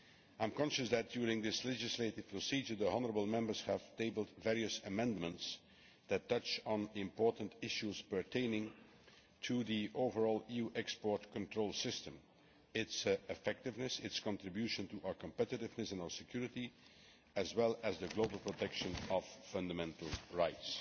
I am conscious that during this legislative procedure the honourable Members have tabled various amendments that touch on the important issues pertaining to the overall EU export control system, its effectiveness, its contribution to our competitiveness and our security, as well as the global protection of fundamental rights.